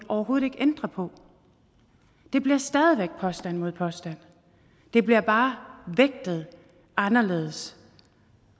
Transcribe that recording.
overhovedet ikke ændre på det bliver stadig væk påstand mod påstand det bliver bare vægtet anderledes og